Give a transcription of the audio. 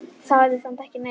Sagði samt ekki neitt.